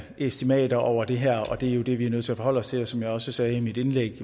estimater over det her og det er jo det vi er nødt til at forholde os til som jeg også sagde i mit indlæg